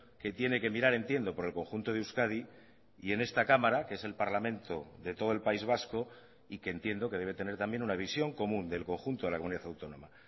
que tiene que mirar entiendo por el conjunto de euskadi y en esta cámara que es el parlamento de todo el país vasco y que entiendo que debe tener también una visión común del conjunto de la comunidad autónoma